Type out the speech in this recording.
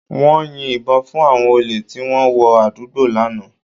Wọ́n yin ìbọn fún àwọn olè tí wọ́n wọ àdúgbò lánàá